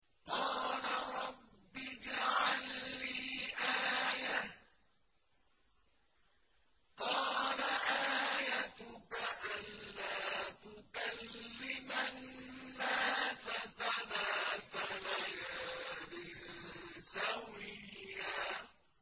قَالَ رَبِّ اجْعَل لِّي آيَةً ۚ قَالَ آيَتُكَ أَلَّا تُكَلِّمَ النَّاسَ ثَلَاثَ لَيَالٍ سَوِيًّا